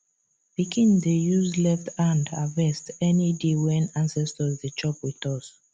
pikin dey use left hand harvest any day when ancestors dey chop with us